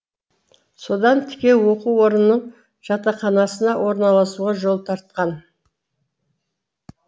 содан тіке оқу орнының жатақханасына орналасуға жол тартқан